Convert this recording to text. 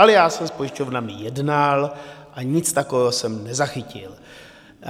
Ale já jsem s pojišťovnami jednal a nic takového jsem nezachytil.